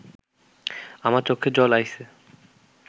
আমার চক্ষে জল আইসে